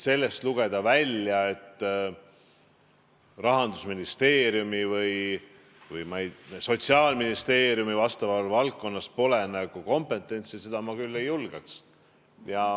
Sellest välja lugeda, et Rahandusministeeriumil või Sotsiaalministeeriumil pole vastavas valdkonnas nagu kompetentsi, ma küll ei julgeks.